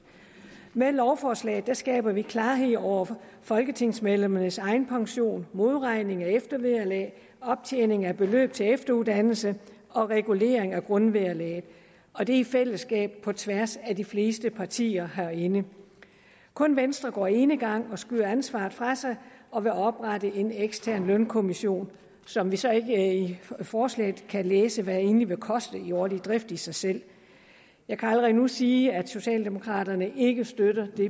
med lovforslaget skaber vi klarhed over folketingsmedlemmernes egenpension modregning af eftervederlag optjening af beløb til efteruddannelse og regulering af grundvederlaget og det er i fællesskab på tværs af de fleste partier herinde kun venstre går enegang og skyder ansvaret fra sig og vil oprette en ekstern lønkommission som vi så ikke i forslaget kan læse hvad egentlig vil koste i årlig drift i sig selv jeg kan allerede nu sige at socialdemokraterne ikke støtter det